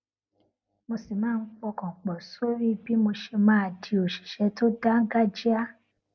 mo sì máa ń pọkàn pò sórí bí mo ṣe máa di òṣìṣé tó dáńgájíá